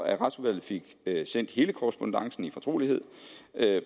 at retsudvalget fik sendt hele korrespondancen i fortrolighed